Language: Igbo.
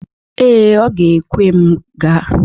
Ee, ọ ga-ekwe m gaa.